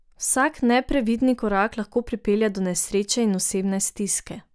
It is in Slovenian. Vsak neprevidni korak lahko pripelje do nesreče in osebne stiske.